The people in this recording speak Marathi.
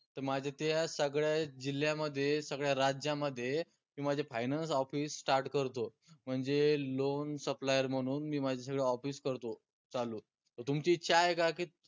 त माझ्या त्या सगळ्या जिल्यामध्ये सगळ्या राज्यामध्ये मी माझे finance office start करतो म्हनजे loan supplier म्हनून मी माझे सगळे office करतो चालू त तुमची इच्छा आहे का की